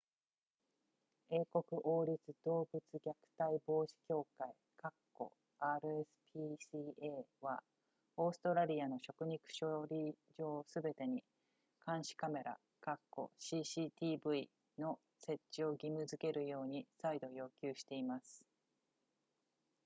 英国王立動物虐待防止協会 rspca はオーストラリアの食肉処理場すべてに監視カメラ cctv の設置を義務付けるように再度要求しています